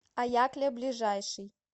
аякля ближайший